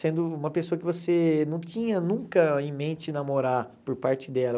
Sendo uma pessoa que você não tinha nunca em mente namorar por parte dela.